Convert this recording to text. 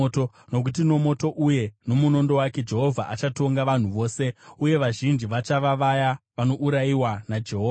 Nokuti nomoto uye nomunondo wake Jehovha achatonga vanhu vose, uye vazhinji vachava vaya vanourayiwa naJehovha.